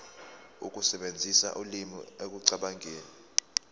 ukusebenzisa ulimi ekucabangeni